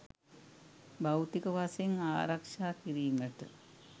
භෞතික වශයෙන් ආරක්‍ෂා කිරීමට